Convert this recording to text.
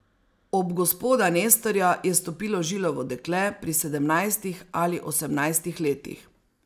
Ob gospoda Nestorja je stopilo žilavo dekle pri sedemnajstih ali osemnajstih letih.